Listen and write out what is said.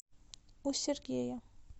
у сергея